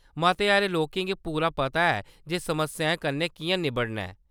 मते हारे लोकें गी पूरा पता ऐ जे समस्याएं कन्नै कि'यां निब्बड़ना ऐ।